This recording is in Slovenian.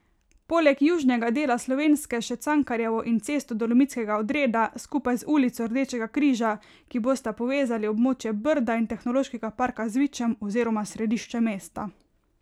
Poleg južnega dela Slovenske še Cankarjevo in Cesto Dolomitskega odreda, skupaj z ulico Rdečega križa, ki bosta povezali območje Brda in Tehnološkega parka z Vičem oziroma središčem mesta.